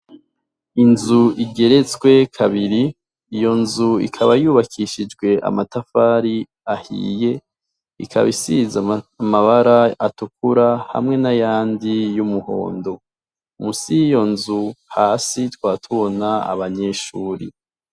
Inzu igeretswe kabiri, iyo nzu ikaba yubakishijwe amatafari ahiye ikaba isiz’amabara atukura hamwe n'ayandi y'umuhondo, musi yiyo nzu hasi twa tubona abanyeshuri.